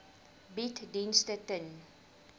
bied dienste ten